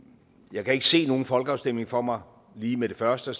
jeg kan ikke se nogen folkeafstemning for mig lige med det første og